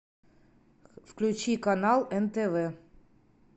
включи канал нтв